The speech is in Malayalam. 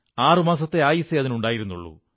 ആറുമാസത്തെ ആയുസ്സേ അതിനുണ്ടായിരുന്നുള്ളൂ